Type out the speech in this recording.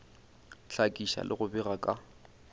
hlakiša le go bega ka